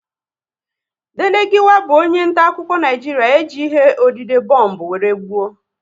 Dele Giwa bụ onye nta akụkọ Naijiria e ji ihe odide bombu wéré gbuo